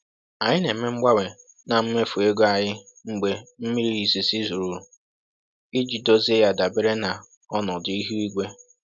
Anyị na-eme mgbanwe na mmefu ego anyị mgbe mmiri izizi rụrụ, iji dozie ya dabere na ọnọdụ ihu igwe.